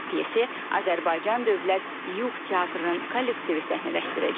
Pyasi Azərbaycan Dövlət Yuğ Teatrının kollektivi səhnələşdirəcək.